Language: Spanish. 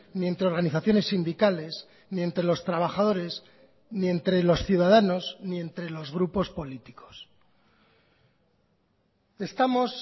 ni entre organizaciones sindicales ni entre los trabajadores ni entre los ciudadanos ni entre los grupos políticos estamos